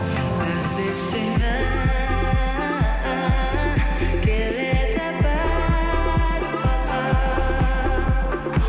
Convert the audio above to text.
іздеп сені келеді бір бақыт